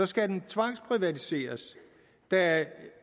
skal den tvangsprivatiseres da